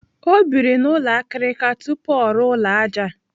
Ọ biri n'ụlọ akirika tupu ọ rụọ ụlọ ájá.